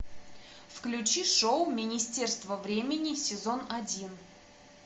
включи шоу министерство времени сезон один